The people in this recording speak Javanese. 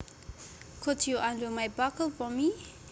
Could you undo my buckle for me